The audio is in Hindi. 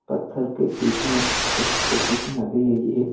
पत्थर के बीच में एक छोटी सी नदी गई है।